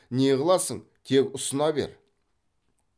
не қыласың тек ұсына бер